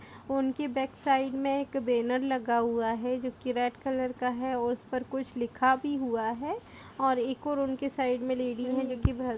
उनकी back side में एक बैनर लगा हुआ है जो कि रेड कलर का है और उस पर कुछ लिखा भी हुआ है और इक ओर उनके साइड में लेडी है जो कि भर --